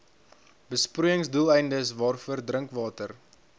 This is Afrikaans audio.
besproeiingsdoeleindes waarvoor drinkwater